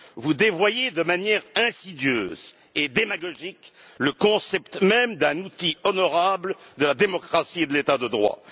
Vous dévoyez de manière insidieuse et démagogique le concept même d'un outil honorable de la démocratie et de l'état de droit.